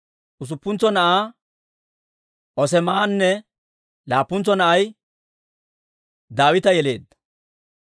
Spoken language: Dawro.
usuppuntso na'aa Oos'eemanne laappuntsa na'ay Daawita yeleedda.